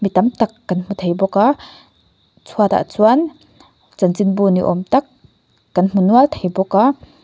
mi tam tak kan hmu thei bawk a chhuatah chuan chanchinbu ni awm tak kan hmu nual thei bawk a.